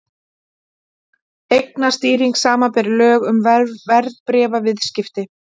Eignastýring, samanber lög um verðbréfaviðskipti.